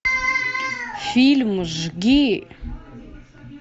фильм жги